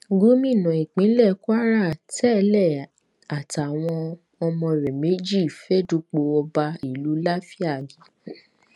gómìnà ìpínlẹ kwara tẹlẹ àtàwọn ọmọ rẹ méjì fẹẹ dupò ọba ìlú láfíàgì